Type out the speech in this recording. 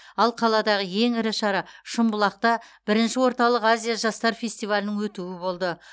ал қаладағы ең ірі шара шымбұлақта бірінші орталық азия жастар фестивалінің өтуі болды